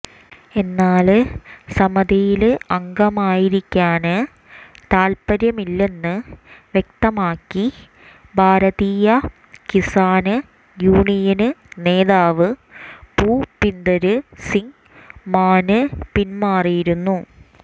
എന്നാല് സമിതിയില് അംഗമായിരിക്കാന് താല്പര്യമില്ലെന്ന്് വ്യക്തമാക്കി ഭാരതീയ കിസാന് യൂണിയന് നേതാവ് ഭൂപിന്ദര് സിങ് മാന് പിന്മാറിയിരുന്നു